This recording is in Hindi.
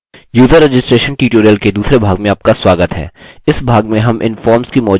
यूज़र रजिस्ट्रेशन ट्यूटोरियल के दूसरे भाग में आपका स्वागत है